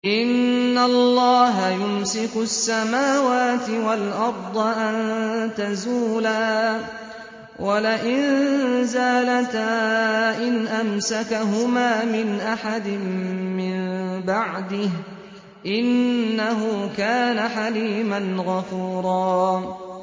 ۞ إِنَّ اللَّهَ يُمْسِكُ السَّمَاوَاتِ وَالْأَرْضَ أَن تَزُولَا ۚ وَلَئِن زَالَتَا إِنْ أَمْسَكَهُمَا مِنْ أَحَدٍ مِّن بَعْدِهِ ۚ إِنَّهُ كَانَ حَلِيمًا غَفُورًا